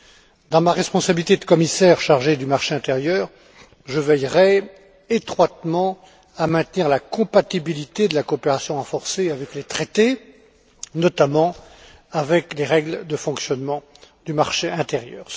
De par ma responsabilité de commissaire chargé du marché intérieur, je veillerai étroitement à maintenir la compatibilité de la coopération renforcée avec les traités, notamment avec les règles de fonctionnement du marché intérieur.